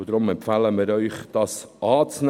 Wir empfehlen Ihnen deshalb dessen Annahme.